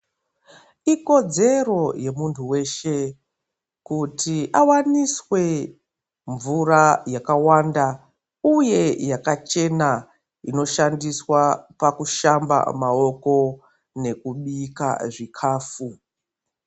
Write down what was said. Ikodzero yemuntu weshe, kuti awaniswe mvura yakawanda, uye yakachena, inoshandiswa pakushamba maoko nekubika zvikhafu.